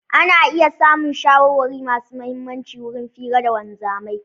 Ana iya samun shawarwari masu mihimmaci wurin fira da wanzamai.